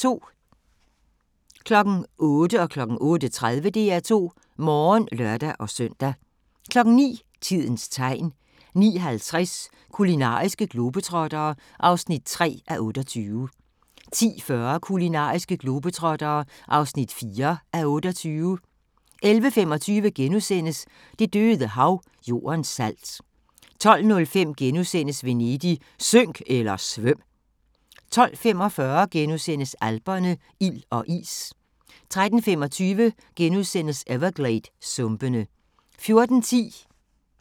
08:00: DR2 Morgen (lør-søn) 08:30: DR2 Morgen (lør-søn) 09:00: Tidens Tegn 09:50: Kulinariske globetrottere (3:28) 10:40: Kulinariske globetrottere (4:28) 11:25: Det døde Hav – Jordens salt * 12:05: Venedig – synk eller svøm! * 12:45: Alperne – ild og is * 13:25: Evergladesumpene * 14:10: Med andre øjne